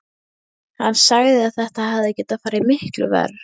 Hann sagði að þetta hefði getað farið miklu verr.